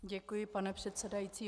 Děkuji, pane předsedající.